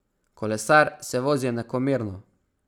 Kolesar se vozi enakomerno.